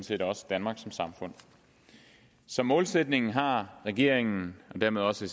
set også danmark som samfund som målsætning har regeringen og dermed også